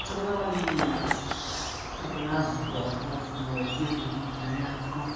троллить раз-два раз-два делаем зарядку